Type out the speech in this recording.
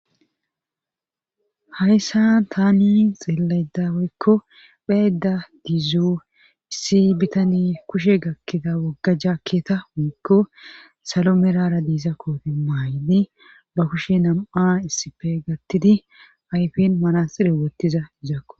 Hayssan taani xeellaydda woykko be7aydda dizo issi bitaney kushe gakkigaw wogga jaakketa woykko sako medhara diza koote mayidi ba kushe nam7a issippe gattidi ba ayfen manaxxire wothidi dizakko.